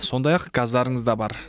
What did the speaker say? сондай ақ газдарыңыз да бар